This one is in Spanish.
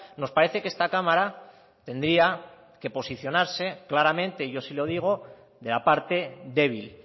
nos parece que esta cámara tendría que posicionarse claramente yo sí lo digo de la parte débil